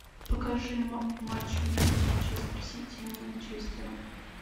покажи матч между манчестер сити и манчестером